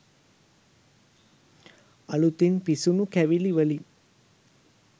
අලුතින් පිසුණු කැවිලි වලින්